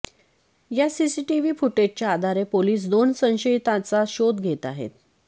या सीसीटीव्ही फूटेजच्या आधारे पोलीस दोन संशयिताचा शोध घेत आहेत